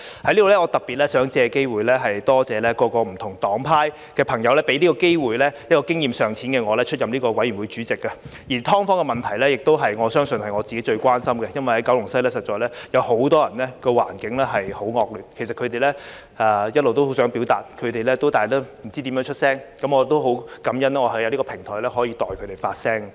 在此，我特別想借機會多謝各不同黨派給這個機會，讓經驗尚淺的我出任法案委員會主席，而"劏房"的問題亦相信是我自己最關心的，因為在九龍西實在有很多人所處環境很惡劣，其實他們一直都很想表達，但不知道怎樣發聲，我很感恩能在這個平台代他們發聲。